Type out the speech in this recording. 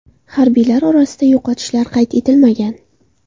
Harbiylar orasida yo‘qotishlar qayd etilmagan.